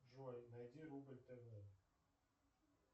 джой найди рубль тв